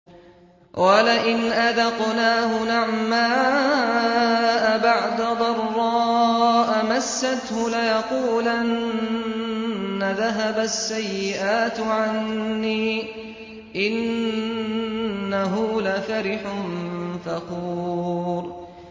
وَلَئِنْ أَذَقْنَاهُ نَعْمَاءَ بَعْدَ ضَرَّاءَ مَسَّتْهُ لَيَقُولَنَّ ذَهَبَ السَّيِّئَاتُ عَنِّي ۚ إِنَّهُ لَفَرِحٌ فَخُورٌ